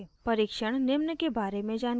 परीक्षण निम्न के बारे में जानकारी देते हैं